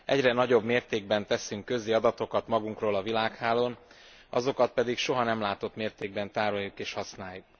Egyre nagyobb mértékben teszünk közé adatokat magunkról a világhálón, azokat pedig soha nem látott mértékben tároljuk és használjuk.